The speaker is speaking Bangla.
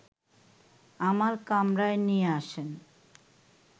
আমার কামরায় নিয়ে আসেন